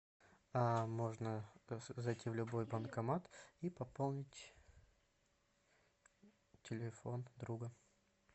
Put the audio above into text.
а можно зайти в любой банкомат и пополнить телефон друга